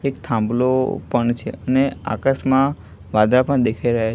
એક થાંભલો પણ છે અને આકાશમાં વાદળ પણ દેખાઈ રહ્યા--